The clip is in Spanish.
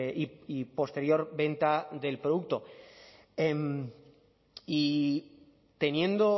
y posterior venta del producto y teniendo